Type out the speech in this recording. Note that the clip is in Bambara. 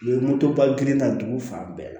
U ye motoba girin ta dugu fan bɛɛ la